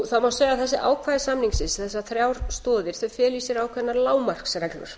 það má segja að þessi ákvæði samningsins þessar þrjár stoðir feli í sér ákveðnar lágmarksreglur